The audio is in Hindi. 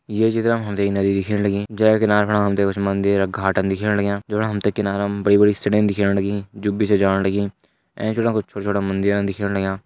ये चित्र म हमते य नदी दिखेण लगी जेक किनार फणा हमते कुछ मंदिर घाटन दिखेण लग्यां जो मणा हमते किनारा म बड़ी बड़ी सीढिन दिखेण लगी जुबी से जाण लगी एंच पणा कुछ छोटा छोटा मंदिरन दिखेण लग्यां।